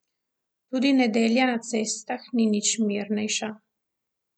Tudi nedelja na cestah ni nič mirnejša.